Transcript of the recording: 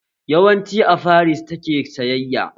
Yawancin a Faris ta ke sayayya